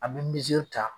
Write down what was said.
An bɛ ta